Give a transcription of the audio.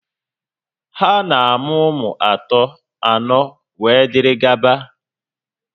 Ha na-amụ ụmụ atọ, anọ, wee dịrị gaba